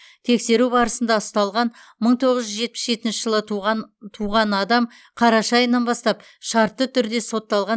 тексеру барысында ұсталған мың тоғыз жүз жетпіс жетінші жылы туған адам қараша айынан бастап шартты түрде сотталған